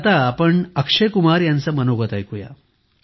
चला आता अक्षय कुमार यांचे मनोगत ऐकुया